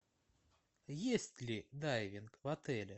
есть ли дайвинг в отеле